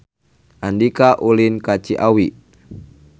Andika ulin ka Ciawi